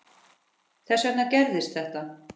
Þess vegna gerðist þetta.